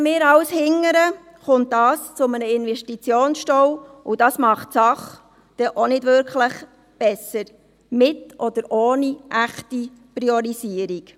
Schieben wir alles nach hinten, kommt es zu einem Investitionsstau, und das macht die Sache nicht wirklich besser, mit oder ohne echte Priorisierung.